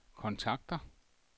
kontakter